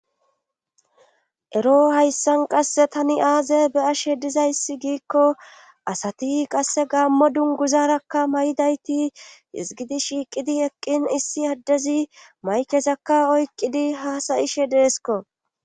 ero hayssan qasse tani aaze be ashe dizayssi giikko asati qasse gaammo dunguzarakka may7dayti izgidi shiiqidi eqqin issi addezi maykezakka oykqidi hasayishe deesko